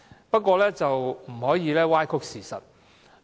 不過，他們不可以歪曲事實。